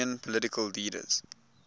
union political leaders